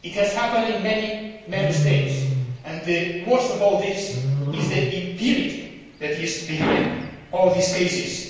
It has happened in many Member States and worst of all is the impunity that is behind all these cases.